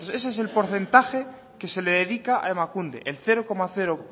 quinientos ese es el porcentaje que se le dedica a emakunde el cero coma